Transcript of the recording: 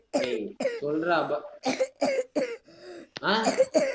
ஏய், சொல்றா ப~ அஹ்